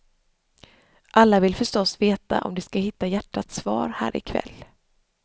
Alla vill förstås veta om de ska hitta hjärtats svar här i kväll.